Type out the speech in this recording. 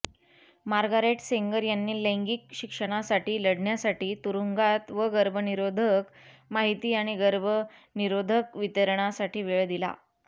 Margaret Sanger यांनी लैंगिक शिक्षणासाठी लढण्यासाठी तुरुंगात व गर्भनिरोधक माहिती आणि गर्भनिरोधक वितरणासाठी वेळ दिला